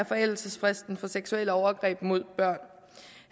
forældelsesfristen for seksuelle overgreb mod børn